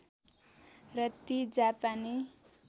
र ती जापानी